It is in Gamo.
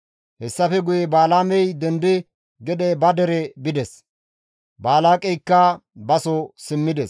Hessafe guye Balaamey dendidi gede ba dere bides; Balaaqeyka baso simmides.